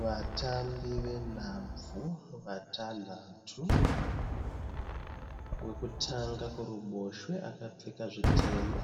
Vatambi venhabvu vatanhatu. Wekutanga kuruboshwe akapfeka zvitema.